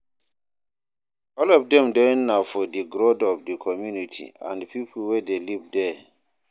All of dem join na for di growth of di community and pipo wey de live there